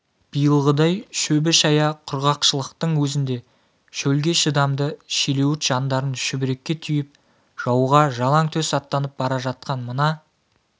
биылғыдай шөбі шая құрғақшылықтың өзінде шөлге шыдамды шилеуіт жандарын шүберекке түйіп жауға жалаң төс аттанып бара жатқан мына